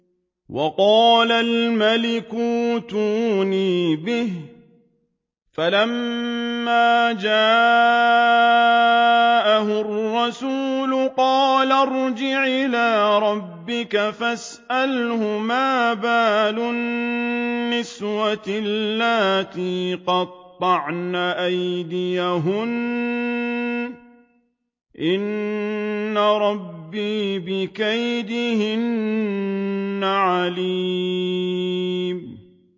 وَقَالَ الْمَلِكُ ائْتُونِي بِهِ ۖ فَلَمَّا جَاءَهُ الرَّسُولُ قَالَ ارْجِعْ إِلَىٰ رَبِّكَ فَاسْأَلْهُ مَا بَالُ النِّسْوَةِ اللَّاتِي قَطَّعْنَ أَيْدِيَهُنَّ ۚ إِنَّ رَبِّي بِكَيْدِهِنَّ عَلِيمٌ